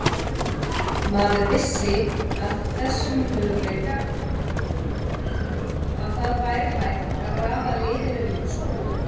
Maður vissi af þessum möguleika, að það væri hægt að raða liðinu upp svona.